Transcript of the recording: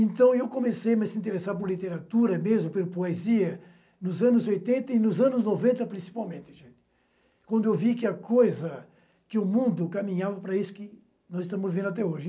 Então eu comecei a me se interessar por literatura mesmo, pela poesia, nos anos oitenta e nos anos noventa, principalmente, quando eu vi que a coisa, que o mundo caminhava para isso que nós estamos vendo até hoje.